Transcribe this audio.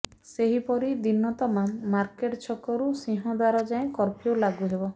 ସେହିପରି ଦିନ ତମାମ ମାର୍କେଟ ଛକରୁ ସିଂହଦ୍ୱାର ଯାଏଁ କର୍ଫ୍ୟୁ ଲାଗୁ ହେବ